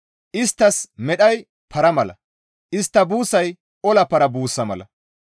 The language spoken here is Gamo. Isttas medhay para mala; istta buussay ola para buussa mala.